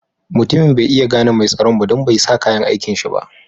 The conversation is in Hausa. Mutumin bai iya gane mai tsaron ba don bai sa kayan aikin shi ba.